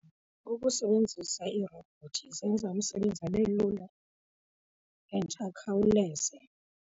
Ukusebenzisa iirobhothi zenza umsebenzi abe lula and akhawuleze.